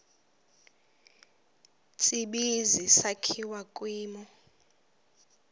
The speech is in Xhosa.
tsibizi sakhiwa kwimo